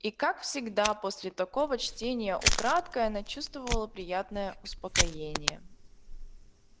и как всегда после такого чтения украдкой она чувствовала приятное успокоение